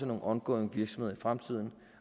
nogle ongoing virksomheder i fremtiden